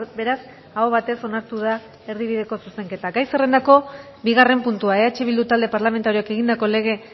beraz aho batez onartu da erdibideko zuzenketa gai zerrendako bigarren puntua eh bildu talde parlamentarioak egindako lege